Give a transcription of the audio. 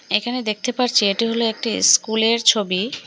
এখানে দেখতে পারছি এটি হলো একটি ইস্কুলের ছবি।